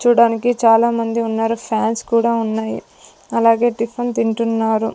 చూడ్డానికి చాలా మంది ఉన్నారు ఫాన్స్ కూడా ఉన్నాయి అలాగే టిఫిన్ తింటున్నారు.